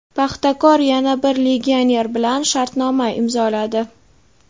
"Paxtakor" yana bir legioner bilan shartnoma imzoladi.